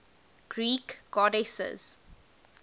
greek goddesses